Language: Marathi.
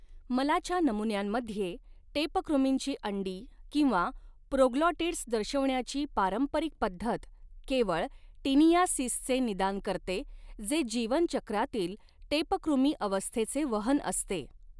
मलाच्या नमुन्यांमध्ये टेपकृमींची अंडी किंवा प्रोग्लॉटिड्स दर्शविण्याची पारंपरिक पद्धत केवळ टीनियासिसचे निदान करते जे जीवन चक्रातील टेपकृमी अवस्थेचे वहन असते.